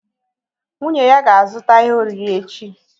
Nwunye ya ga-azụta ihe oriri echi